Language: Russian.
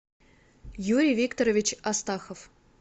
юрий викторович астахов